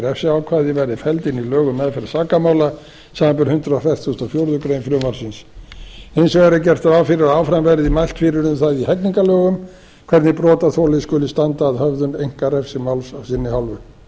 refsiákvæði verði felld inn í lög um meðferð sakamála samanber hundrað fertugasta og fjórðu grein frumvarpsins hins vegar er gert ráð fyrir að áfram verði mælt fyrir um það í hegningarlögum hvernig brotaþoli skuli standa að höfðun einkarekstri máls af sinni hálfu sérstakur